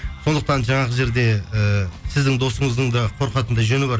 сондықтан жаңағы жерде ііі сіздің досыздың да қорқатындай жөні бар